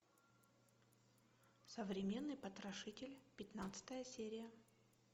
современный потрошитель пятнадцатая серия